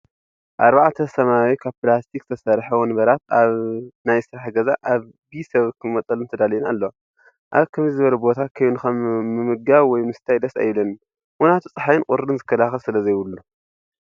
ኣርባዕተ ሰማያዊ ካብ ፕላስቲክ ዝተሰረሐ ወንበራት ኣብ ናይ ስራሕ ገዛ ኣብ ቢ ሰብ ክመጠለን ተዳልየን ኣለዋ። ኣብ ከምዚ ዝበለ ቦታ ኮይንካ ምምቃብ ወይ ምስታይ ደስ ኣይብለንን ምክንያቱ ፀሓይን ቁሪን ዝክልክል ስለዘይብሉ።